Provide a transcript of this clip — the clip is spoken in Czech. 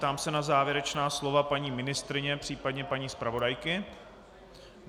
Ptám se na závěrečná slova paní ministryně, případně paní zpravodajky.